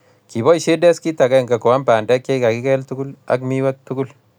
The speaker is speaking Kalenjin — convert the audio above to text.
Kiboisie deskit agenge koam bandek chekakikel tugul akwam miwek tugul